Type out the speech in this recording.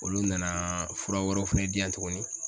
Olu nana fura wɛrɛw fɛnɛ di yan tuguni